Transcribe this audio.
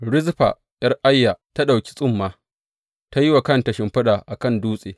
Rizfa ’yar Aiya ta ɗauki tsumma ta yi wa kanta shimfiɗa a kan dutse.